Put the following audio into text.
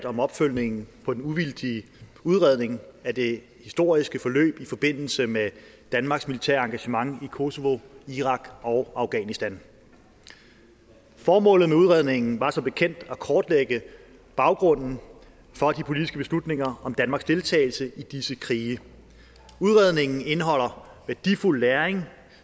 om opfølgningen på den uvildige udredning af det historiske forløb i forbindelse med danmarks militære engagement i kosovo irak og afghanistan formålet med udredningen var som bekendt at kortlægge baggrunden for de politiske beslutninger om danmarks deltagelse i disse krige udredningen indeholder værdifuld læring